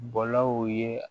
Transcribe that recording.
Bɔlaw ye